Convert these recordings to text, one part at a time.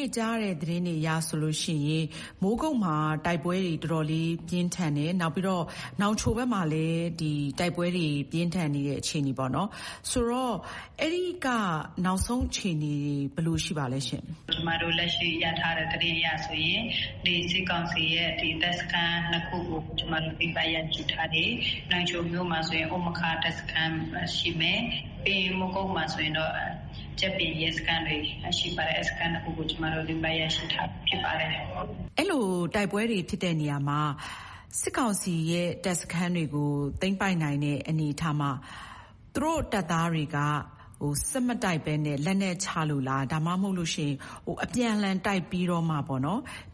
ု့ကြားတဲ့သတင်းအရဆိုလို့ရှိရင် မိုးကုတ်မှာတိုက်ပွဲတွေ တော်တော်လေးပြင်းထန်တယ်။ နောက်ပြီးတော့ နောင်ချိုဘက်မှာလည်း တိုက်ပွဲတွေပြင်းထန်နေတဲ့အခြေအနေမှာပေါ့နော်။...ဆိုတော့ အဲဒီက နောက်ဆုံးအခြေအနေတွေ ဘယ်လိုရှိပါသလဲရှင့်။ လွေးယေဦး။ ။ ကျမတို့လက်ရှိရထားတဲ့သတင်းအရဆိုရင် စစ်ကောင်စီရဲ့တပ်စခန်းနှစ်ခုကို ကျမတို့သိမ်းပိုက်ရရှိထားပြီ။ နောင်ချိုမြို့မှာဆိုရင်... တပ်စခန်းရှိမယ်။ ပြီးရင် မိုးကုတ်မှာဆိုရင်တော့ ကြပ်ပြင်ရဲစခန်းတွေ ရှိပါတယ်။ အဲဒီတပ်စခန်းနှစ်ခုကို ကျမတို့ သိမ်းပိုက်ရရှိထားပြီးဖြစ်ပါတယ်။ အင်ကြင်းနိုင်။ ။ အဲလို တိုက်ပွဲတွေဖြစ်တဲ့နေရာမှာ စစ်ကောင်စီရဲ့တပ်စခန်းတွေကိုသိမ်းပိုက်နိုင်တဲ့အနေအထားမှာ သူတို့တပ်သားတွေက ဆက်မတိုက်ဘဲ လက်နက်ချလို့လား၊ ဒါမှမဟုတ်လို့ရှိရင် အပြန်အလှန်တိုက်ပြီးတော့မှ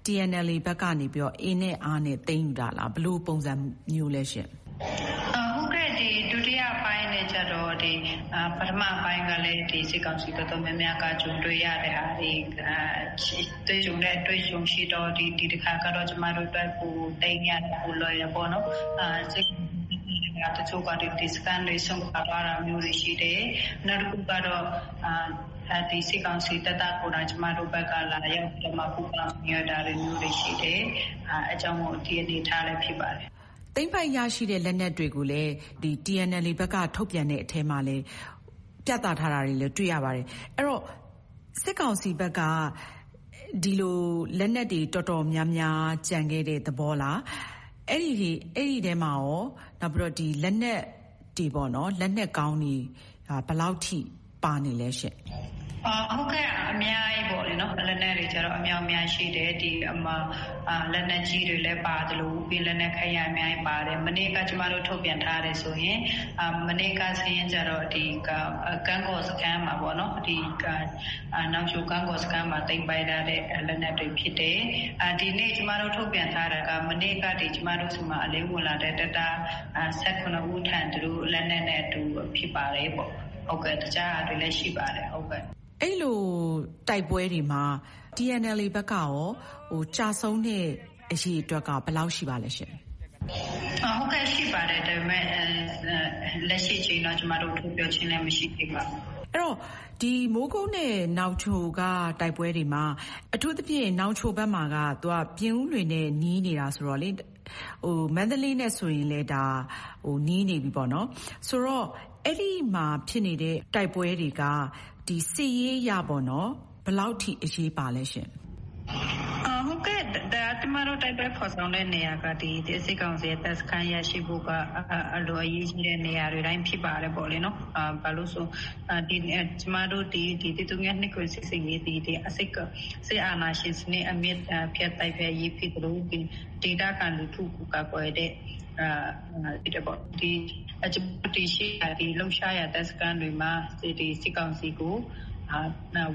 TNLA ဘက်ကနေ အင်နဲ့အားနဲ့သိမ်းယူတာလား။ ဘယ်လိုပုံစံမျိုးလဲရှင့်။ လွေးယေဦး။ ။ ဟုတ်ကဲ့၊ ဒုတိယပိုင်းအနေနဲ့ကျတော့ ပထမပိုင်းကလည်း ဒီစစ်ကောင်စီ တော်တော်များများက ကြုံတွေ့ရတာတွေ အတွေ့အကြုံရှိတော့ ဒီတခါကျတော့ သိမ်းရပိုလွယ်တယ်ပေါ့နော်၊ တချို့ တပ်စခန်းတွေ စွန့်ခွါသွားတာမျိုးတွေရှိတယ်။ နောက်တခုကတော့ စစ်ကောင်စီတပ်သားကိုယ်တိုင် ကျမတို့ဘက်ကို လာရောက်ပူးပေါင်းဝင်ရောက်တာလည်း ရှိတယ်။ အဲဒါကြောင့်မို့ ဒီအနေအထားလည်းဖြစ်ပါတယ်။ အင်ကြင်းနိုင်။ ။ သိမ်းပိုက်ရရှိတဲ့လက်နက်တွေကိုလည်း TNLA ဘက်က ထုတ်ပြန်တဲ့အထဲမှာ ပြသထားတာတွေလည်း တွေ့ရပါတယ်။ အဲဒီတော့ စစ်ကောင်စီဘက်က ဒီလို လက်နက်တွေတော်တော်များများ ကျန်ခဲ့တဲ့သဘောလား၊ အဲဒီထဲမှာရော လက်နက်အကောင်းတွေ ဘယ်လောက်ထိ ပါလဲရှင့်။ လွေးယေဦး။ ။ ဟုတ်ကဲ့၊ အများကြီးပေါ့လေ။ လက်နက်တွေအမြောက်အများရှိတယ်။ လက်နက်ကြီးတွေပါသလို လက်နက်ခဲယမ်းအများအပြားပါတယ်။ မနေ့က ကျမတို့ထုတ်ပြန်ထားတာဆိုရင် နောင်ချို ကံ့ကော်စခန်းမှာသိမ်းပိုက်ထားတဲ့လက်နက်တွေဖြစ်တယ်။ ဒီနေ့ကျမတို့ထုတ်ပြန်ထားတာက မနေ့ကအထိ ကျမတို့ဆီမှာအလင်းဝင်လာတဲ့တပ်သား ၁၇ ဦး၊ လက်နက်နဲ့ ဖြစ်ပါတယ်ပေါ့။ တခြားဟာတွေလည်းရှိပါတယ်။ အင်ကြင်းနိုင်။ ။ အဲဒီလိုတိုက်ပွဲတွေမှာ TNLA ဘက်ကရော ကျဆုံးတဲ့အရေအတွက်က ဘယ်လောက်ရှိပါသလဲရှင့်။ လွေယေဦး။ ။ ဟုတ်ကဲ့၊ ရှိပါတယ်။ ဒါပေမဲ့ လက်ရှိအချိန်တော့ ကျမတို့ ထုတ်ပြောခြင်းလည်းမရှိသေးပါဘူး။ အင်ကြင်းနိုင်။ ။ အဲဒီတော့ မိုးကုတ်နဲ့နောင်ချိုကတိုက်ပွဲတွေမှာ အထူးသဖြင့် နောင်ချိုဘက်မှာက ပြင်ဦးလွင်နဲ့နီးနေတာဆိုတော့ မန္တလေးနဲ့လည်း နီးနေပြီပေါ့နော်။ ဆိုတော့ - အဲဒီမှာဖြစ်နေတဲ့တိုက်ပွဲတွေက စစ်ရေးအရ ဘယ်လောက်အထိ အရေးပါလဲရှင့်။ လွေးယေဦး။ ။ ဟုတ်ကဲ့၊ ကျမတို့ တိုက်ပွဲဖော်ဆောင်တဲ့နေရာက စစ်ကောင်စီရဲ့တပ်စခန်းရရှိမှုက အလွန်အရေးကြီးတဲ့နေရာတွေတိုင်း ဖြစ်ပါတယ်ပေါ့နော်။ ဘာလို့ဆို ကျမတို့ ၁၀၂၇ စစ်ဆင်ရေးသည် စစ်အာဏာရှင်စနစ် အမြစ်ပြတ်တိုက်ဖျက်ရေးဖြစ်သလို ဒေသခံလူထုကိုကာကွယ်တာလည်းဖြစ်တယ်ပေါ့။ ဒီလှုပ်ရှားရာတပ်စခန်းတွေမှာ စစ်ကောင်စီကို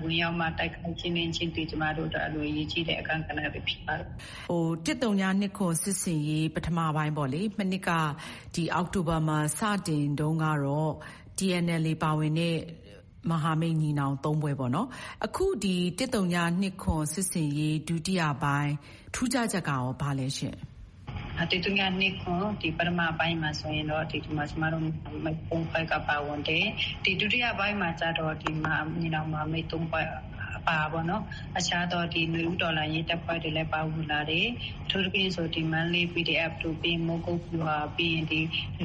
ဝင်ရောက်ပြီးမှ တိုက်ခိုက်ခြင်းသည် ကျမတို့အတွက် အလွန်အရေးကြီးတဲ့အခန်းကဏ္ဍပဲဖြစ်ပါတယ်။ အင်ကြင်းနိုင်။ ။ ၁၀၂၇ စစ်ဆင်ရေးပထမပိုင်းပေါ့လေ၊ မနှစ်က အောက်တိုဘာမှာစတင်တုန်းကတော့ TNLA ပါဝင်တဲ့ မဟာမိတ်ညီနောင်သုံးဖွဲ့ပေါ့နော်။ အခု ၁၀၂၇ စစ်ဆင်ရေးထူးခြားချက်ကကော ဘာများလဲရှင့်။ လွေးယေဦး။ ။ ၁၀၂၇ ပထမပိုင်းမှာဆိုရင်တော့......ကပါဝင်တယ်။ ဒုတိယပိုင်းမှာကျ ညီနောင်မဟာမိတ်သုံးဖွဲ့ပါတာပေါ့နော်။ အခြားသော နွေဦးတော်လှန်ရေးတပ်ဖွဲ့တွေလည်း ပါဝင်လာတယ်။ အထူးသဖြင့် မန္တလေး PDF တို့၊ မိုးကုတ်....ပြီးရင် ဓ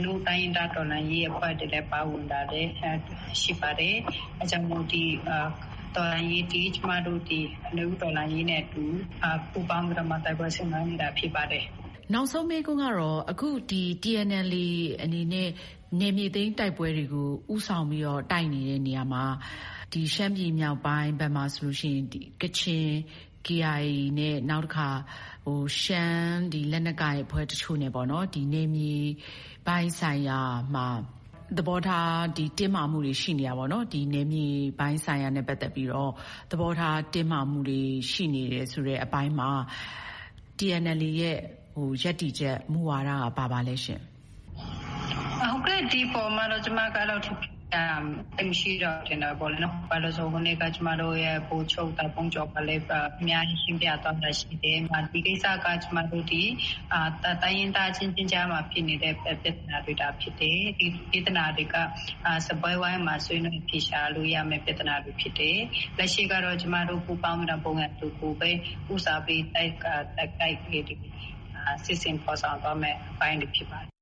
နုတိုင်းရင်းသားအဖွဲ့တွေလည်း ပါဝင်လာတယ်။ ဒါကြောင့် ဒီတော်လှန်ရေးသည် နွေဦးတော်လှန်ရေးနဲ့အတူ ပူးပေါင်းပြီးတော့ တိုက်ပွဲဆင်နွဲနေတာဖြစ်ပါတယ်။ အင်ကြင်းနိုင်။ ။ နောက်ဆုံးမေးခွန်းကတော့ အခု TNLA အနေနဲ့ နယ်မြေသိမ်းတိုက်ပွဲတွေကို ဦးဆောင်ပြီးတော့ တိုက်နေတဲ့နေရာမှာ ရှမ်းပြည်မြောက်ပိုင်းဘက်မှာဆိုရင် ကချင် KIA နဲ့ နောက်တခါ ရှမ်းလက်နက်ကိုင်အဖွဲ့တချို့နဲ့ပေါ့နော် နယ်မြေပိုင်းဆိုင်ရာမှာ သဘောထားတင်းမာမှုတွေရှိနေတာပေါ့နော်၊ နယ်မြေပိုင်းဆိုင်ရာနဲ့ပတ်သက်ပြီး သဘောထားတင်းမာမှုတွေ ရှိနေတယ်ဆိုတဲ့အပိုင်းမှာ TNLA ရဲ့ ရပ်တည်ချက် မူဝါဒက ဘာပါလဲရှင့်။ လွေးယေဦး။ ။ ဟုတ်ကဲ့ ဒီအပေါ်မှာတော့ ကျမက သိပ်ပြောစရာမရှိတော့ဘူးထင်တယ်ပေါ့နော်၊ ဘာလို့လဲဆိုတော့ ဟိုနေ့က ကျမတို့ရဲ့ဗိုလ်ချုပ် တာ့ဖုန်းကျော်က အများကြီးရှင်းပြသွားတာရှိတယ်။ နောက်ပြီးတော့ ဒီကိစ္စက ကျမတို့သည် တိုင်းရင်းသားအချင်းချင်းကြားမှာဖြစ်နေတဲ့ ပြဿနာတွေသာဖြစ်တယ်။ ဒီပြဿနာတွေက စားပွဲဝိုင်းမှာဆွေးနွေးအဖြေရှာလို့ရမယ့် ပြဿနာတွေဖြစ်တယ်။ လက်ရှိကတော့ ကျမတို့ပူးပေါင်းပြီး ဘုံရန်သူကိုပဲ တိုက်ခိုက် စစ်ဆင်ဖော်ဆောင်သွားမယ့်အပိုင်းဖြစ်ပါတယ်။